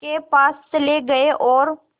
के पास चले गए और